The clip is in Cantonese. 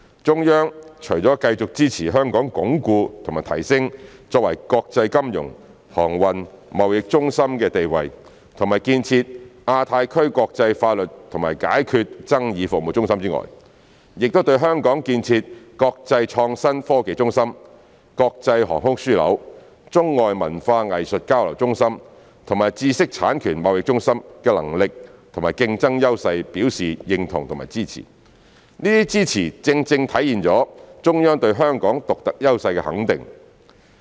中央除了繼續支持香港鞏固和提升作為國際金融、航運、貿易中心的地位和建設亞太區國際法律及解決爭議服務中心外，也對香港建設國際創新科技中心、國際航空樞紐、中外文化藝術交流中心和知識產權貿易中心的能力和競爭優勢表示認同和支持，這些支持正正體現了中央對香港獨特優勢的肯定。